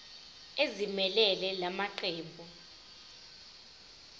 ezimelele la maqembu